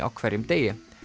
á hverjum degi